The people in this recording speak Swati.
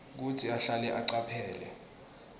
kutsi ahlale acaphele